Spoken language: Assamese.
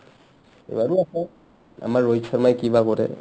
আৰু আছে আমাৰ ৰোহিত ছৰ্মাই কি বা কৰে ?